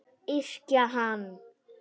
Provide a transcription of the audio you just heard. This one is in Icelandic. Yrkja hann!